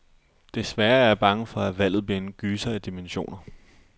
Desværre er jeg bange for, at valget bliver en gyser af dimensioner.